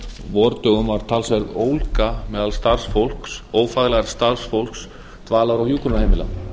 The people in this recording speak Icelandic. vordögum var talsverð ólga meðal ófaglærðs starfsfólks dvalar og hjúkrunarheimila